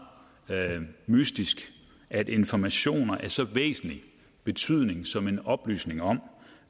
mystisk at informationer af så væsentlig betydning som en oplysning om